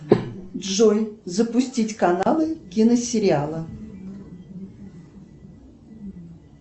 джой запустить каналы киносериалы